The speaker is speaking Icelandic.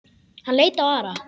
Hann leit á Ara.